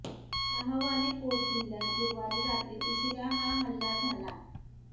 शाह वाली कोट जिल्हय़ात गुरुवारी रात्री उशिरा हा हल्ला झाला